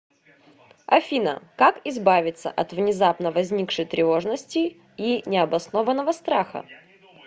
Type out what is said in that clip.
афина как избавиться от внезапно возникшей тревожности и необоснованного страха